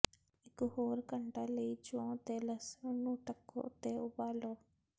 ਇਕ ਹੋਰ ਘੰਟਾ ਲਈ ਜੌਂ ਤੇ ਲਸਣ ਨੂੰ ਢੱਕੋ ਅਤੇ ਉਬਾਲੋ